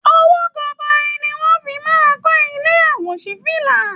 Owó gọbọi ni wọ́n fi máa ń kọ ilé àwòṣífílà